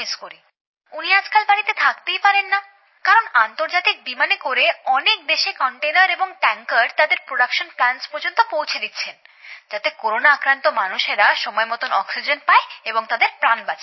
উনি আজকাল বাড়িতে থাকতেই পারেন না কারণ আন্তর্জাতিক বিমানে করে অনেক দেশে কন্টেইনার এবং ট্যাংকার তাদের উৎপাদন কেন্দ্র পর্যন্ত পৌঁছে দিচ্ছেন যাতে করোনাআক্রান্ত মানুষরা সময়মত অক্সিজেন পায় এবং তাদের প্রাণ বাঁচে